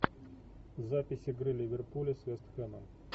запись игры ливерпуля с вест хэмом